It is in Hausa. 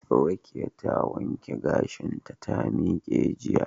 Rekiya ta wanke gashinta ta miqe jiya